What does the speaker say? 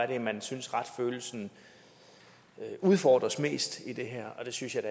det er man synes retsfølelsen udfordres mest i det her det synes jeg